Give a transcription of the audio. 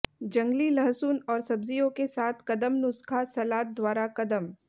जंगली लहसुन और सब्जियों के साथ कदम नुस्खा सलाद द्वारा कदम